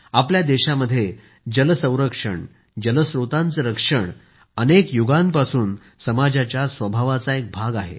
आपल्या देशामध्ये जल संरक्षण जल स्त्रोतांचे रक्षण अनेक युगांपासून समाजाच्या स्वभावाचा एक भाग आहे